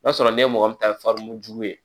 N'a sɔrɔ n' ye mɔgɔ min ta farin jugu ye